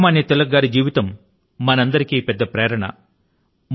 లోక మాన్య తిలక్ గారి జీవితం మనందరికీ పెద్ద ప్రేరణ